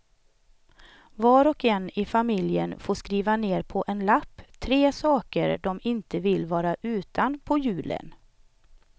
Var och en i familjen får skriva ner på en lapp tre saker de inte vill vara utan på julen.